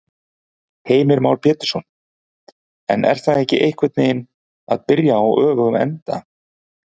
Heimir Már Pétursson: En er það ekki einhvern veginn að byrja á öfugum enda?